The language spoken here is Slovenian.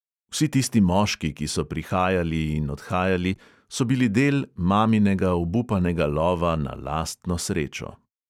Vsi tisti moški, ki so prihajali in odhajali, so bili del maminega obupanega lova na lastno srečo.